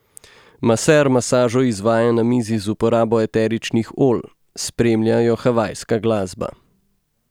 Maser masažo izvaja na mizi z uporabo eteričnih olj, spremlja jo havajska glasba.